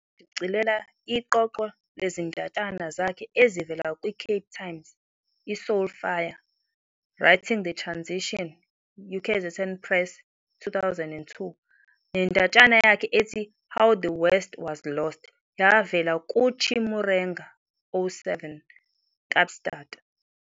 Wabuye washicilela iqoqo lezindatshana zakhe ezivela kwiCape Times, "iSoul Fire- Writing the Transition", UKZN Press, 2002, nendatshana yakhe ethi 'How The West Was Lost' yavela kuChimurenga 07- "Kaapstad!"